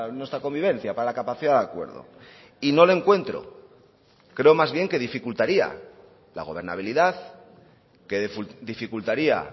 nuestra convivencia para la capacidad de acuerdo y no le encuentro creo más bien que dificultaría la gobernabilidad que dificultaría